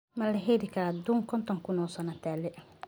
Mali xelikara duun konton kun oosano taale.